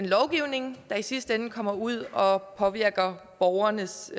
lovgivning der i sidste ende kommer ud og påvirker borgernes